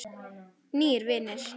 Nýir vinir